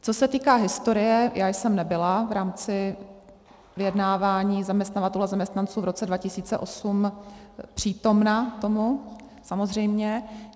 Co se týká historie, já jsem nebyla v rámci vyjednávání zaměstnavatelů a zaměstnanců v roce 2008 přítomna tomu, samozřejmě.